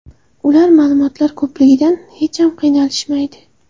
Ular ma’lumotlar ko‘pligidan hech ham qiynalishmaydi.